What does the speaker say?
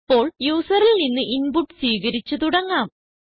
ഇപ്പോൾ യൂസറിൽ നിന്ന് ഇൻപുട്ട് സ്വീകരിച്ച് തുടങ്ങാം